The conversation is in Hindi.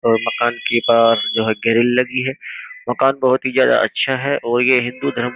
अ मकान के बाहर जो है गेरील लगी है। मकान बहुत ही ज्यादा अच्छा है और ये हिन्दू धरम --